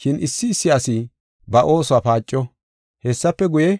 Shin issi issi asi ba oosuwa paaco. Hessafe guye,